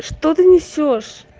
что ты несёшь